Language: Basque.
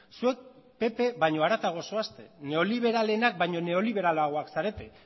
zuek pp baino haratago zoazte neoliberalenak baino neoliberalagoak zarete